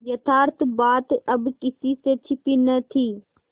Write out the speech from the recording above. यथार्थ बात अब किसी से छिपी न थी